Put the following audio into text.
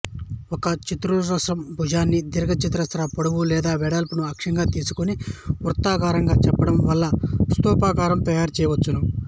ఒక చతురస్రం భుజాన్ని దీర్ఘచతురస్ర పొడవు లేదా వెడల్పులను అక్షంగా తీసుకొని వృత్తాకారంగా చుట్టడం వల్ల స్థూపాకారం తయారుచేయవచ్చు